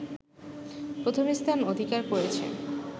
প্রথমস্থান অধিকার করেছে